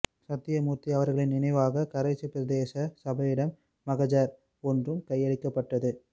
சத்தியமூர்த்தி அவர்களின் நினைவாக கரைச்சி பிரதேச சபையிடம் மகஜர் ஒன்றும் கையளிக்கப்பட்டது